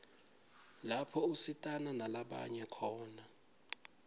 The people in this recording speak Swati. lapho usitana nalabanye khona